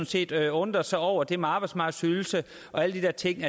set undrede sig over det med arbejdsmarkedsydelse og alle de der ting